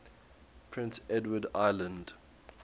prince edward island